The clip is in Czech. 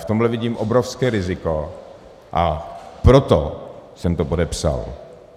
V tomhle vidím obrovské riziko a proto jsem to podepsal.